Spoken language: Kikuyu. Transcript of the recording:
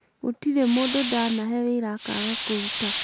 Gũtirĩ Mũndũ ndanahe wĩra akaaga kũruta